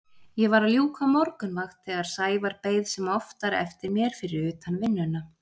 Ég var að ljúka morgunvakt þegar Sævar beið sem oftar eftir mér fyrir utan vinnuna.